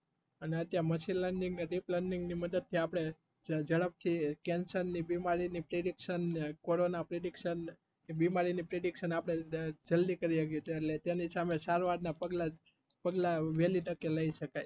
અને અત્યરે machine learning ને deep learning થી આપડે ઝડપ થી કેન્સર ની બીમારી ની prediction ન ને કોરોના prediction બીમારી ની prediction કેરી હ કીય તેની સામે સારવાર ના પગલાં વહેલે તકે લઇ શકાય